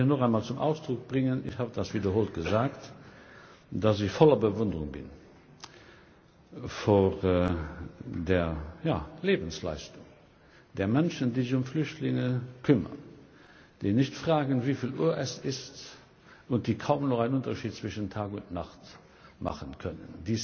Ich möchte hier noch einmal zum Ausdruck bringen ich habe das wiederholt gesagt dass ich voller Bewunderung bin für die Lebensleistung der Menschen, die sich um Flüchtlinge kümmern, die nicht fragen, wieviel Uhr es ist, und die kaum noch einen Unterschied zwischen Tag und Nacht machen können.